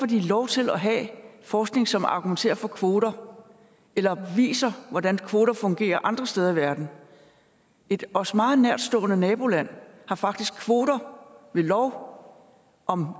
de lov til at have forskning som argumenterer for kvoter eller viser hvordan kvoter fungerer andre steder i verden et os meget nærtstående naboland har faktisk kvoter ved lov om